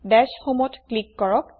দাশ homeত ক্লিক কৰক